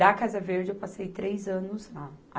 Da Casa Verde, eu passei três anos lá.